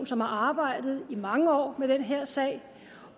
som har arbejdet i mange år med den her sag